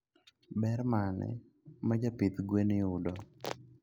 Ber mane majaidh gwen yudo?